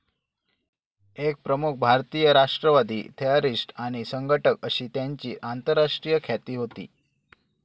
एक प्रमुख भारतीय राष्ट्रवादी, थेअरीस्ट आणि संघटक अशी त्यांची आंतरराष्ट्रीय ख्याती होती.